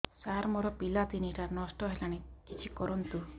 ସାର ମୋର ପିଲା ତିନିଟା ନଷ୍ଟ ହେଲାଣି କିଛି କରନ୍ତୁ